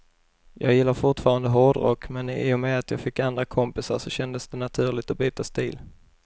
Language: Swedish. Jag gillar fortfarande hårdrock, men i och med att jag fick andra kompisar så kändes det naturligt att byta stil.